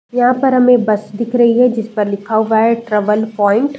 यहाँ पर हमें एक बस दिख रही है। जिस पर लिखा हुआ है ट्रेवल पॉइन्ट ।